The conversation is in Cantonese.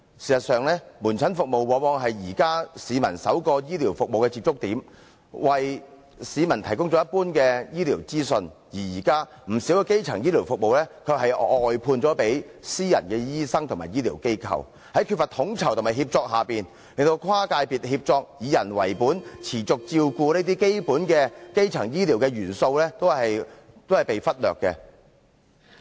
事實上，門診服務往往是現時市民首個醫療服務的接觸點，為市民提供一般的醫療資訊，而現時，不少基層醫療服務卻是"外判"予私人醫生和醫療機構，在缺乏統籌和協作下，令跨界別協作、以人為本、持續照顧這些基本的基層醫療元素均被忽略。